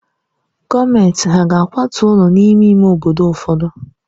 Gọọmenti hà ga-akwatu ụlọ n'ime ime obodo ụfọdụ?